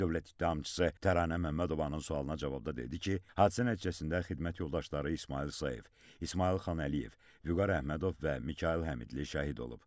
Dövlət ittihamçısı Təranə Məmmədovanın sualına cavabda dedi ki, hadisə nəticəsində xidmət yoldaşları İsmayıl Sayev, İsmayıl Xan Əliyev, Vüqar Əhmədov və Mikayıl Həmidli şəhid olub.